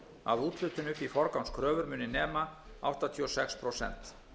að úthlutun upp í forgangskröfur muni nema áttatíu og sex prósent